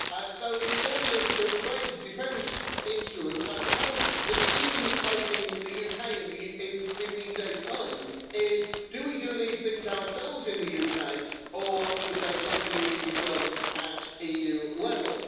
So in terms of trade defence instruments, I suppose the decision that is facing the UK in 15 days' time is, do we do these things ourselves in the UK or should they continue to be done at EU level?